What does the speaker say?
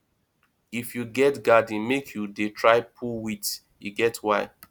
if you get garden make you dey try pull weeds e get why